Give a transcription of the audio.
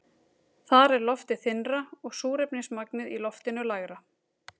Þar er loftið þynnra og súrefnismagnið í loftinu lægra.